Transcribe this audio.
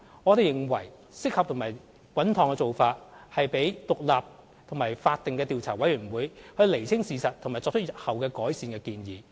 我們認為適合和穩妥的做法是讓獨立和法定的調查委員會釐清事實和作出日後改善的建議。